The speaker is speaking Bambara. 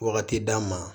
Wagati d'an ma